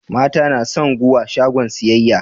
mata nason guwa shagon siyayya